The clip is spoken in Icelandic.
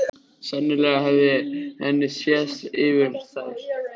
Sennilega hafði henni sést yfir þær.